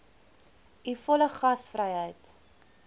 u volle gasvryheid